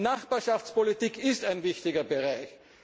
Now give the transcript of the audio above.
kommen. Nachbarschaftspolitik ist ein wichtiger Bereich.